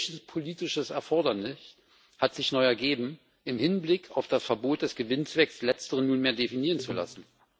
Welches politische Erfordernis hat sich neu ergeben, im Hinblick auf das Verbot des Gewinnzwecks letzteren nunmehr definieren zu lassen?